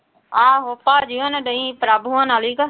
ਆਹੋ ਭਾਜੀ ਹੋਣੀ ਡਈ ਪ੍ਰਭ ਹੋਣਾਂ